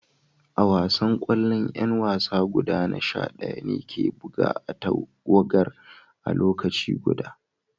A wasan kwallo, yan wasa guda sha daya ne ke buga a'tagawar a'lokaci guda.